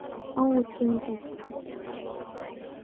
Óútgefin gögn.